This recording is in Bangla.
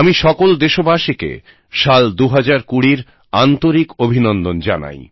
আমি সকল দেশবাসীকে সাল 2020র আন্তরিক অভিনন্দন জানাই